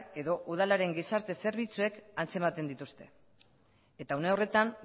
edo udalaren gizarte zerbitzuek antzematen dituzte eta une horretan